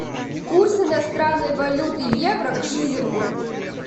курс иностранной валюты евро к шиллингу